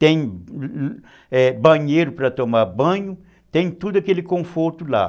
Tem banheiro para tomar banho, tem tudo aquele conforto lá.